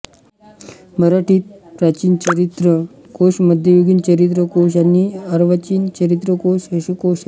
मराठीत प्राचीन चरित्र कोश मध्ययुगीन चरित्र कोश आणि अर्वाचीन चरित्र कोश असे कोश आहेत